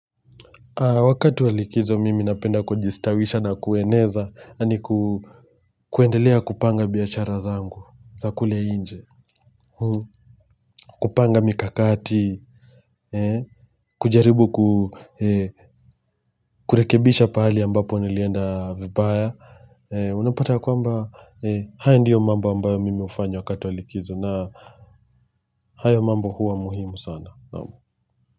Wakatu wa likizo mimi napenda kujistawisha na kueneza yani ku kuendelea kupanga biashara zangu za kule nje kupanga mikakati kujaribu kurekebisha pahali ambapo nilienda vibaya unapata kwamba haya ndiyo mambo ambayo mimi hufanya wakati wa likizo na hayo mambo huwa muhimu sana naamu.